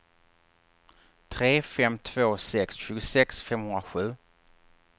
tre fem två sex tjugosex femhundrasju